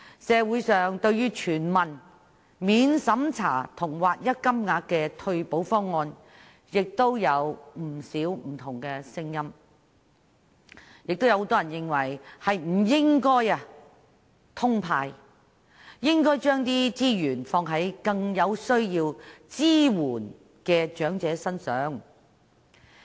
社會對全民免經濟審查及劃一金額的全民退休保障制度有不少不同的聲音，亦有很多人認為不應"通派"，而應該將資源用於更需要支援的長者身上。